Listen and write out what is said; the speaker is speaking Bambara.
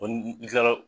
n kilala